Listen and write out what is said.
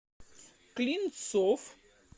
клинцов